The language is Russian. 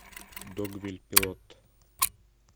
догвилль пилот